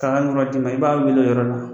K'a ka nimori di ma i b'a wele o yɔrɔ la